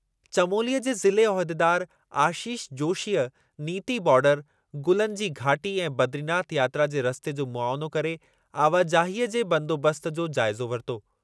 चमोलीअ जे ज़िले उहिदेदारु आशीष जोशीअ नीति बार्डर, गुलनि जी घाटी ऐं बदरीनाथ यात्रा जे रस्ते जो मुआयनो करे आवाजाहीअ जे बंदोबस्तु जो जाइज़ो वरितो।